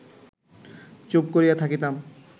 চুপ করিয়া থাকিতাম